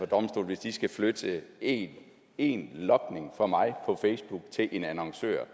domstol hvis de skal flytte en en logning for mig på facebook til en annoncør